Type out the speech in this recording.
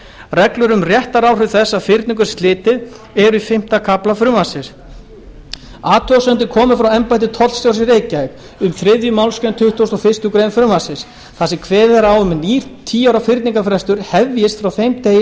reglur um réttaráhrif þess að fyrningu er slitið eru í fimmta kafla frumvarpsins athugasemdir komu frá embætti tollstjórans í reykjavík um þriðju málsgrein tuttugustu og fyrstu grein frumvarpsins þar sem kveðið er á um að nýr tíu ára fyrningarfrestur hefjist frá þeim degi